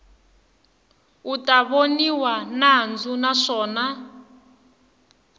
u ta voniwa nandzu naswona